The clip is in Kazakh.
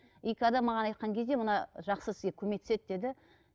и когда маған айтқан кезде мына жақсы сізге көмектеседі деді